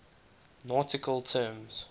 nautical terms